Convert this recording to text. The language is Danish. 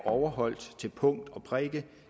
overholdt til punkt og prikke